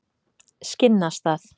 Skinnastað